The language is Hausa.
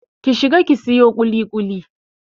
Ki shiga ki sayo ƙuliƙuli!